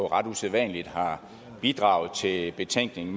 ret usædvanligt har bidraget til betænkningen